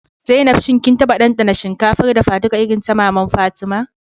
Zainab, shin kin taba dandana shinkafar dafaduka irin ta maman Fatima?